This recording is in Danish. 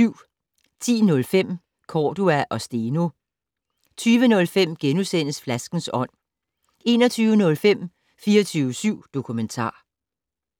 10:05: Cordua og Steno 20:05: Flaskens ånd * 21:05: 24syv Dokumentar